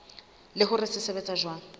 le hore se sebetsa jwang